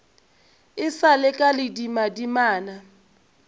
e sa le ka ledimadimana